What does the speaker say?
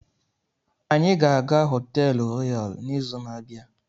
Anyị ga-aga họteelu Royal n'izu na-abịa.